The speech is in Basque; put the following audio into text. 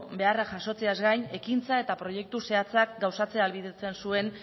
beharrak jasotzeaz gain ekintza eta proiektu zehatzak gauzatzea ahalbidetzen zuen